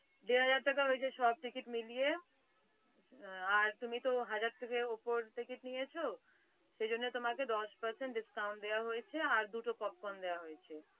দেড় হাজার টাকা হয়েছে সব ticket মিলিয়ে আর তুমি তো হাজার টাকার ওপর ticket নিয়েছ সেই জন্য তোমাকে দশ percent discount দেওয়া হয়েছে আর দুটো popcorn দেওয়া হয়েছে।